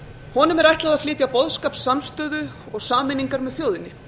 honum er ætlað að flytja boðskap samstöðu og sameiningar með þjóðinni